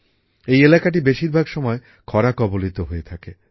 এই এলাকাটি বেশিরভাগ সময় ক্ষরা কবলিত হয়ে থাকে